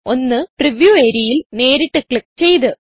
ഒന്ന് പ്രിവ്യൂ areaയിൽ നേരിട്ട് ക്ലിക്ക് ചെയ്ത്